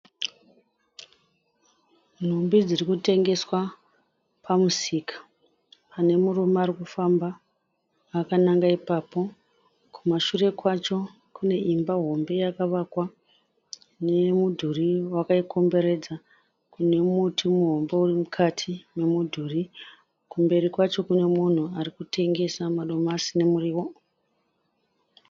Nhumbi dziri kutengeswa pamusika. Pane murume ari kufamba akananga ipapo. Kumashure kwacho kune imba hombe yakavakwa nemudhuri wakaikomberedza nemuti muhombe uri mukati momudhuri. Kumberi kwacho kune munhu ari kutengesa madomasi nomuriwo.